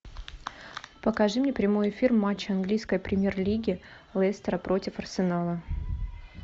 покажи мне прямой эфир матча английской премьер лиги лестера против арсенала